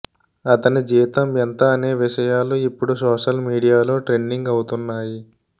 అతని జీతం ఎంత అనే విషయాలు ఇప్పుడు సోషల్ మీడియాలో ట్రెండింగ్ అవుతున్నాయి